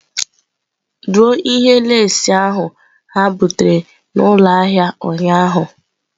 Dụọ ihe leesị ahụ ha butere n'ụlọ ahịa ụnyaahụ!.